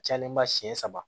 Cayalen ba siɲɛ saba